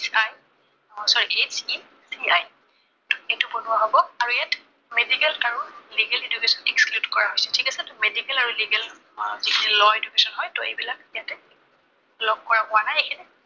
oh sorry, HECI এইটো বনোৱা হব। আৰু ইয়াত medical আৰু legal education Exclude কৰা হৈছে। ঠিক আছে, medical আৰু legal আহ law education হয়। ত, এইবিলাক ইয়াতে লগ কৰা হোৱা নাই এইখিনিত